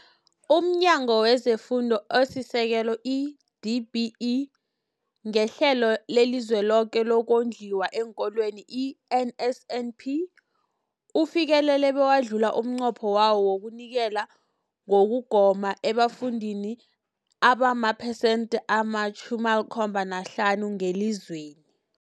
UmNyango wezeFundo esiSekelo, i-DBE, ngeHlelo leliZweloke lokoNdliwa eenKolweni, i-NSNP, ufikelele bewadlula umnqopho wawo wokunikela ngokugoma ebafundini abamaphesenthi ama-75 ngelizweni.